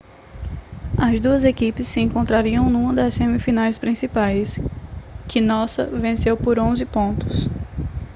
as duas equipes se encontrariam numa das semifinais principais que nossa venceu por 11 pontos